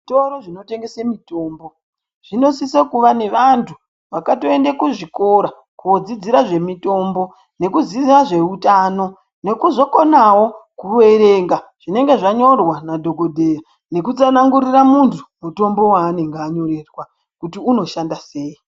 Zvitoro zvinotengese mitombo zvinosisa kuva nevanthu vakatoenda kuzvilora kodzidzira zvemitombo nekuziya zveutano. Nekuzokonawo kuverenga zvinenge zvanyorwa nadhokodheya nokutsanangurira munthu mutombo wanenge anyorerwa kuti unoshanda sei.